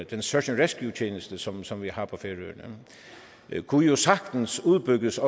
den search and rescue tjeneste som som vi har på færøerne kunne jo sagtens udbygges